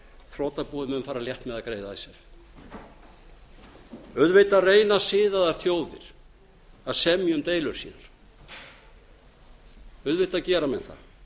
þrotabúið mun fara létt með að greiða icesave auðvitað reyna siðaðar þjóðir að semja um deilur sínar auðvitað gera mennþað